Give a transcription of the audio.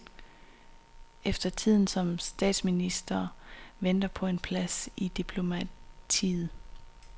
Efter tiden som statsminister venter der en plads i diplomatiet.